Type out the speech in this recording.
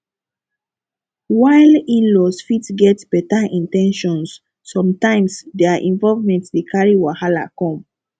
while inlaws fit get better in ten tions sometimes their involvement dey carry wahala come